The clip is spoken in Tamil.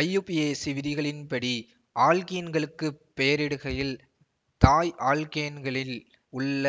ஐயுபிஏசி விதிகளின்படி ஆல்க்கீன்களுக்கு பெயரிடுகையில் தாய் ஆல்க்கேன்கலில் உள்ள